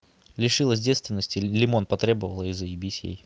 лишилась девственности лимон потребовала и заебись ей